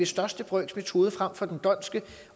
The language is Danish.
største brøks metode frem for den dhondtske